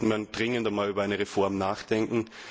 Hier sollte man dringend über eine Reform nachdenken.